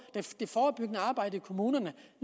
det forebyggende arbejde i kommunerne